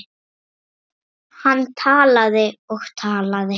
Hann talaði og talaði.